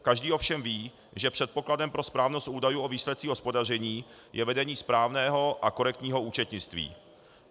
Každý ovšem ví, že předpokladem pro správnost údajů o výsledcích hospodaření je vedení správného a korektního účetnictví.